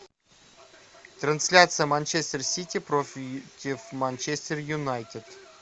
трансляция манчестер сити против манчестер юнайтед